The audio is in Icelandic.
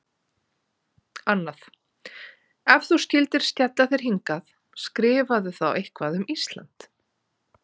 Annað: Ef þú skyldir skella þér hingað, skrifaðu þá eitthvað um Ísland.